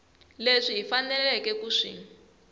leswi hi faneleke ku swi